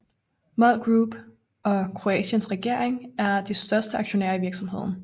MOL Group og Kroatiens regering er de største aktionærer i virksomheden